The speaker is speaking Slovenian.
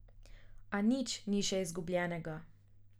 A nič ni še izgubljenega.